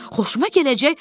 Xoşuma gələcək?